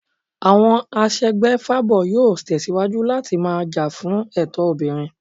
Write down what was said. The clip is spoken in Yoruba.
Àwọn aṣègbèfábo yóò tẹ̀síwájú láti máa jà fún ẹ̀tọ́ obìnrin